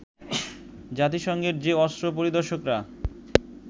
জাতিসংঘের যে অস্ত্র পরিদর্শকরা